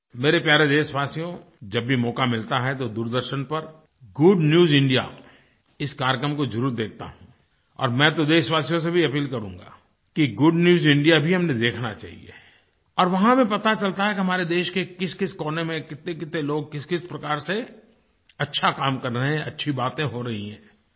मेरे प्यारे देशवासियो जब भी मौका मिलता है तो दूरदर्शन पर गुड न्यूज इंडिया इस कार्यक्रम को जरुर देखता हूँ और मैं तो देशवासियों से भी अपील करूँगा कि गुड न्यूज इंडिया भी हमें देखना चाहिए और वहाँ पर पता चलता है कि हमारे देश के किसकिस कोने में कितनेकितने लोग किसकिस प्रकार से अच्छा काम कर रहे हैं अच्छी बातें हो रही हैं